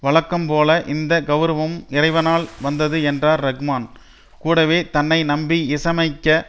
வழக்கம் போல இந்த கவுரவமும் இறைவனால் வந்தது என்றார் ரஹ்மான் கூடவே தன்னை நம்பி இசையமைக்க